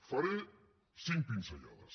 en faré cinc pinzellades